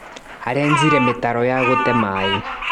Arenjire mĩtaro ya gũte maĩ.